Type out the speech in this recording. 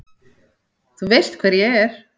Þú veist hver ég er.